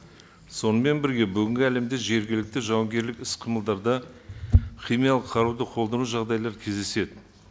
сонымен бірге бүгінгі әлемде жергілікті жауынгерлік іс қимылдарда химиялық қаруды қолдану жағдайлары кездеседі